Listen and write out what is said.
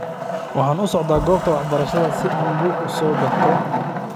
Waxan usocota gobta waxbarashada si an buuk uusokato.